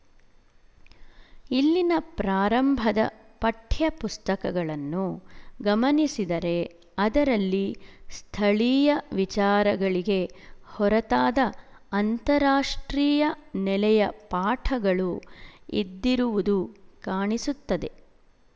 ಇಲ್ಲಿನ ಪ್ರಾರಂಭದ ಪಠ್ಯಪುಸ್ತಕಗಳನ್ನು ಗಮನಿಸಿದರೆ ಅದರಲ್ಲಿ ಸ್ಥಳೀಯ ವಿಚಾರಗಳಿಗೆ ಹೊರತಾದ ಅಂತಾರಾಷ್ಟ್ರೀಯ ನೆಲೆಯ ಪಾಠಗಳು ಇದ್ದಿರುವುದು ಕಾಣಿಸುತ್ತದೆ